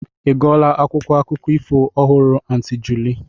Ị gụọla akwụkwọ akụkọ ifo ọhụrụ Aunty Julie?